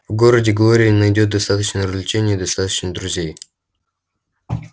в городе глория найдёт достаточно развлечений и достаточно друзей